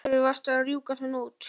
Af hverju varstu að rjúka svona út?